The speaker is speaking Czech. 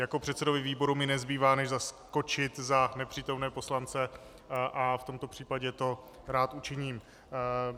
Jako předsedovi výboru mi nezbývá než zaskočit za nepřítomné poslance a v tomto případě to rád učiním.